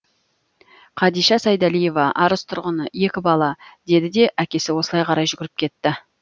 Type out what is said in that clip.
қадиша сайдалиева арыс тұрғыны екі бала деді де әкесі осылай қарай жүгіріп кетті